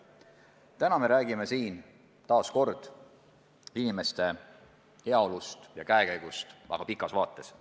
Praegu me räägime jälle inimeste heaolust ja käekäigust, aga väga pikas vaates.